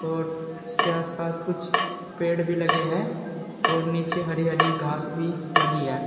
और इसके आसपास कुछ पेड़ भी लगे हैं और नीचे हरी हरी घास भी लगी है।